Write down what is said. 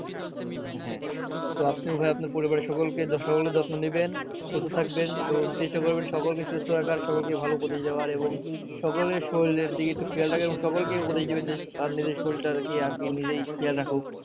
তো আপনি উভয় আপনার পরিবারের সকলকে সকলের যত্ন নিবেন সুস্থ থাকবেন এবং চেষ্টা করবেন সকলকে সুস্থ রাখার সকলকে ভালো উপদেশ দেওয়ার এবং সকলের শরীরের দিকে একটু খেয়াল রাখার এবং উপদেশ দিবেন যে পারলে নিজের শরীরটার আরকি আরকি নিজেই খেয়াল রাখুক